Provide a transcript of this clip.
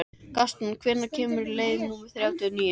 Gaston, hvenær kemur leið númer þrjátíu og níu?